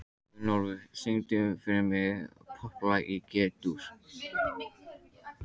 Gunnólfur, syngdu fyrir mig „Popplag í G-dúr“.